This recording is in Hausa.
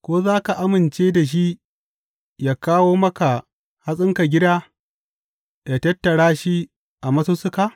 Ko za ka amince da shi yă kawo maka hatsinka gida yă tattara shi a masussuka?